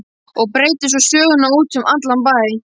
Og breiddi svo söguna út um allan bæ.